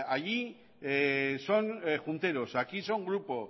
oiga allí son junteros aquí son grupo